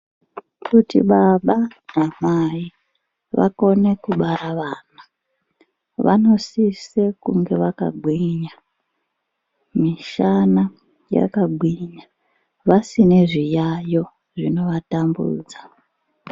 Kuti baba namai vakone kubara vana vanosise kunge vakagwinya mishana yakagwinya vasine zviyayo zvono vatambudza.